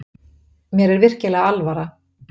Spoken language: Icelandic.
Mér er virkilega alvara.